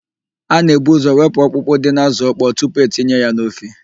A na-ebu ụ́zọ̀ wepụ ọkpụkpụ dị n'ázụ̀ ọkpọọ tupu etinye ya n'ofe.